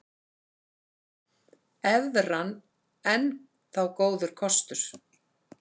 Evran enn þá góður kostur